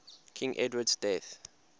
king edward's death